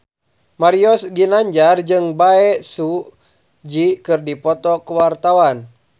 Mario Ginanjar jeung Bae Su Ji keur dipoto ku wartawan